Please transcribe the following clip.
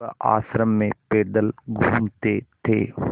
वह आश्रम में पैदल घूमते थे